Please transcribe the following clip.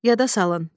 Yada salın.